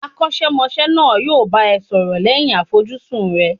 Akosemose náà yo bá ẹ sọrọ lẹ́yìn àfojúsùn rẹ